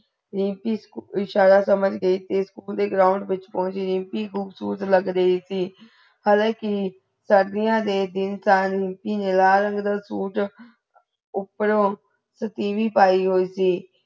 ਰੀਮਪੀ ਇਸ਼ਾਰਾ ਸਮਜ ਗਈ ਸੀ school ਦੇ ground ਵਿਚ ਪੋਹੁਚੀ ਰੀਮਪੀ ਖੂਬਸੂਰਤ ਲੱਗ ਰਹੀ ਥੀ ਹਾਲਾਂ ਕੀ ਸਰਦੀਆਂ ਇਨਸਾਨ ਉਪਰੋਂ ਤੁਸੀਂਵੀ ਪਾਈ ਹੂਓ ਸੀ